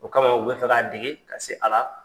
O kama u bɛ fɛ ka dege ka se a la.